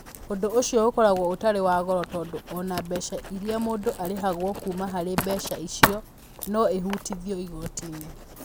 Ũndũ ũcio ũkoragwo ũtarĩ wa goro tondũ o na mbeca iria mũndũ arĩhagwo kuuma harĩ mbeca icio no ihutithio igooti-inĩ.